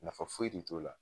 Nafa foyi de t'o la